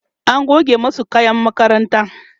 an goge masu kayan makaranta